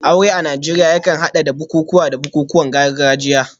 Aure a Najeriya yakan hada da bukukuwa da bukukuwan gargajiya.